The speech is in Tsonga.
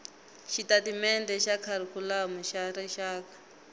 xitatimendhe xa kharikhulamu xa rixaka